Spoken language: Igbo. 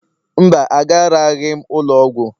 Mba, agaraghị m ụlọ ọgwụ